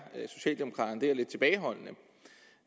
lidt tilbageholdende